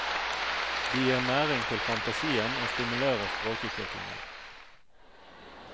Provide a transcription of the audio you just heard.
De gir næring til fantasien og stimulerer språkutviklingen.